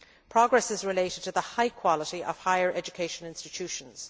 Progress is related to the high quality of higher education institutions.